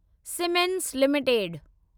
siemens limited